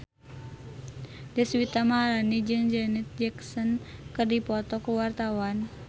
Deswita Maharani jeung Janet Jackson keur dipoto ku wartawan